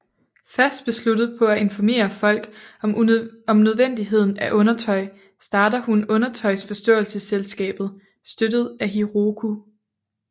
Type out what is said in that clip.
Fast besluttet på at informere folk om nødvendigheden af undertøj starter hun Undertøjsforståelsesselskabet støttet af Hiroki